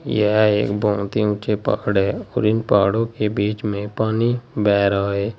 यह एक बहुत ही ऊंचे पकड़ है और इन पहाड़ों के बीच में पानी बह रहा है।